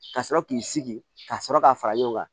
Ka sɔrɔ k'i sigi ka sɔrɔ k'a fara ɲɔgɔn kan